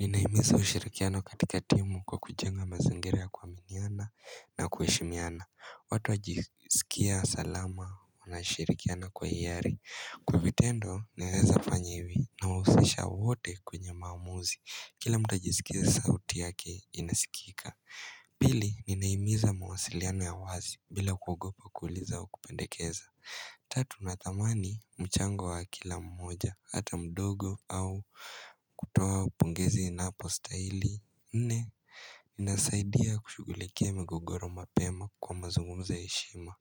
Ninahimiza ushirikiano katika timu kwa kujenga mazingira ya kuaminiana na kuheshimiana watu wajisikia salama wanashirikiana kwa hiari Kwa vitendo ninaeza kufanya hivi nawahusisha wote kwenye maamuzi Kila mtu ajisikie sauti yake inasikika Pili ninahimiza mawasiliano ya wazi bila kuogopa kuuliza wa kupendekeza Tatu na thamani mchango wa kila mmoja, hata mdogo au kutoa upongezi inapostahili Nne, ninasaidia kushughulikia migogoro mapema kwa mazungumzo ya heshima